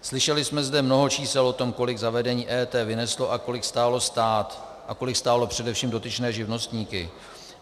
Slyšeli jsme zde mnoho čísel o tom, kolik zavedení EET vyneslo a kolik stálo stát a kolik stálo především dotyčné živnostníky.